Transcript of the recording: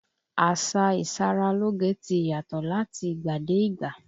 Àsá ìṣaralóge ti yàtọ̀ láti ìgbà dé ìgbà.